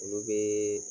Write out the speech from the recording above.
Olu bɛ